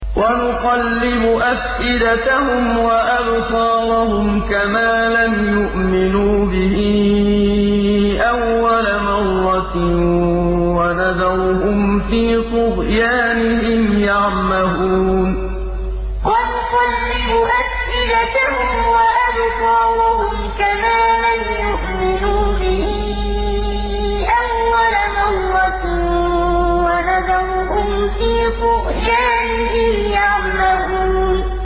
وَنُقَلِّبُ أَفْئِدَتَهُمْ وَأَبْصَارَهُمْ كَمَا لَمْ يُؤْمِنُوا بِهِ أَوَّلَ مَرَّةٍ وَنَذَرُهُمْ فِي طُغْيَانِهِمْ يَعْمَهُونَ وَنُقَلِّبُ أَفْئِدَتَهُمْ وَأَبْصَارَهُمْ كَمَا لَمْ يُؤْمِنُوا بِهِ أَوَّلَ مَرَّةٍ وَنَذَرُهُمْ فِي طُغْيَانِهِمْ يَعْمَهُونَ